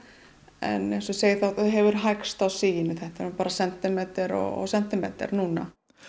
en eins og ég segi þá hefur hægst á siginu þetta er bara sentimeter og sentimeter núna